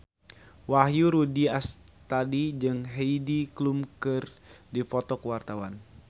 Wahyu Rudi Astadi jeung Heidi Klum keur dipoto ku wartawan